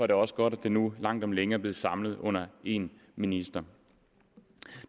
det også godt at det nu langt om længe er blevet samlet under en minister